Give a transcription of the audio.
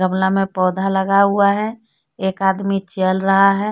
गमला मे पौधा लगा हुआ है एक आदमी चल रहा है।